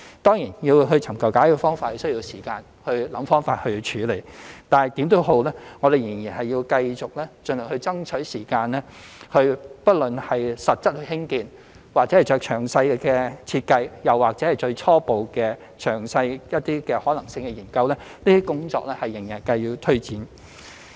當然，要尋求解決方法，便需要時間思考方法處理，但無論如何，我們仍然繼續盡量爭取時間，不論是實質興建或做詳細設計，又或是初步、較詳細的可行性研究，這些工作仍需推展。